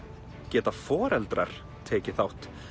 geta foreldrar tekið þátt